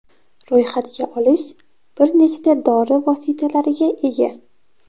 Ro‘yxatga olish bir nechta dori vositalariga ega.